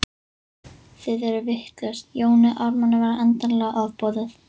Þið eruð vitlaus, Jóni Ármanni var endanlega ofboðið.